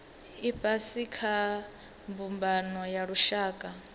ifhasi kha mbumbano ya lushaka